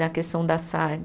Na questão da sarna.